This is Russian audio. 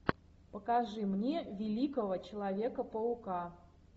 покажи мне великого человека паука